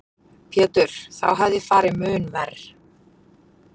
Pétur: Þá hefði farið mun verr?